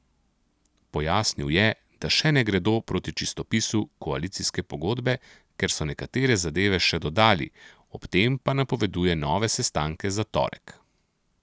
Pojasnil je, da še ne gredo proti čistopisu koalicijske pogodbe, ker so nekatere zadeve še dodali, ob tem pa napoveduje nove sestanke za torek.